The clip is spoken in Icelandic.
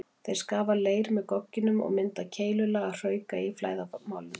Þeir skafa leir með gogginum og mynda keilulaga hrauka í flæðarmálinu.